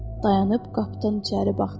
Dayanıb qapıdan içəri baxdı.